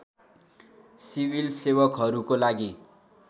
civil सेवकहरूको लागि